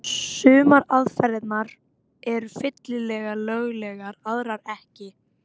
Sumar aðferðirnar eru fyllilega löglegar, aðrar ekki.